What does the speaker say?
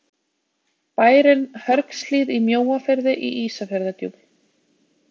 bærinn hörgshlíð í mjóafirði í ísafjarðardjúpi